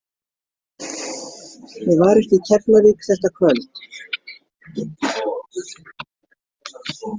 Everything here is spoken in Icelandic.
Ég var ekki í Keflavík þetta kvöld!